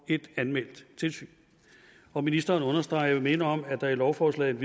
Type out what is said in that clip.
ét anmeldt tilsyn og ministeren understreger jeg vil minde om at der i lovforslaget